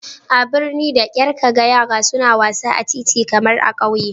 A birni da kyar ka ga yara suna wasa a titi kamar a ƙauye